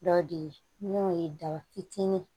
Dɔ de ye n'o ye daba fitinin ye